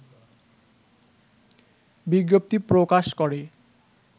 বিজ্ঞপ্তি প্রকাশ করে